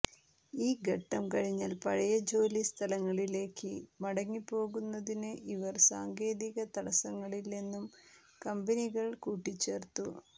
ഈ ഘട്ടം കഴിഞ്ഞാൽ പഴയ ജോലി സ്ഥലങ്ങളിലേക്ക് മടങ്ങിപ്പോകുന്നതിന് ഇവർ സാങ്കേതിക തടസ്സങ്ങളില്ലെന്നും കമ്പനികൾ കൂട്ടിച്ചേർത്തു